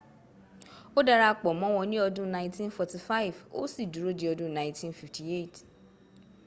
ó dara pọ̀ mọ́wọn ní ọdún 1945 ó sì dúró di ọdún 1958